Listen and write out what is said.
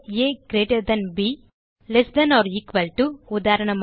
ஆ GT ப் less than or equal to உதாரணமாக